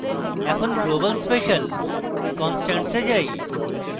এখন global special কনস্টান্টসে যাই